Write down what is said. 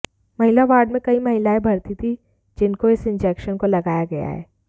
महिला वार्ड में कई महिलाएं भर्ती थीं जिनको इस इंजेक्शन को लगाया गया है